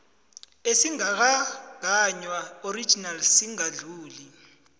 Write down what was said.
esingakagaywa original singadluli